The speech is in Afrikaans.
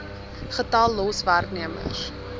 getal los werknemers